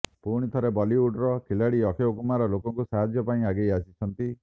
ପୁଣିଥରେ ବଲିଉଡର ଖିଲାଡ଼ୀ ଅକ୍ଷୟ କୁମାର ଲୋକଙ୍କୁ ସାହାଯ୍ୟ ପାଇଁ ଆଗେଇ ଆସିଛନ୍ତି